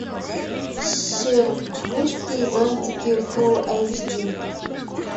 шербургские зонтики фулл эйч ди